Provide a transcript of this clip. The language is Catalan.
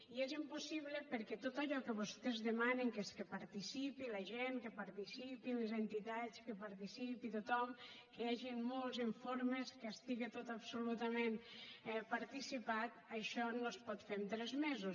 i és impossible perquè tot allò que vostès demanen que és que participi la gent que participin les entitats que participi tothom que hi hagin molts informes que estigui tot absolutament participat això no es pot fer en tres mesos